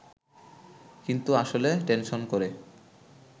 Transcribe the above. কিন্তু আসলে টেনশন করে